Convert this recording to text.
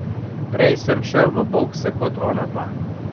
Prej sem šel v bokse kot onadva.